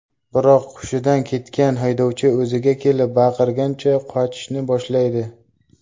Biroq hushidan ketgan haydovchi o‘ziga kelib, baqirgancha, qochishni boshlaydi.